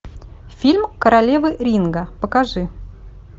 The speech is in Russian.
фильм королева ринга покажи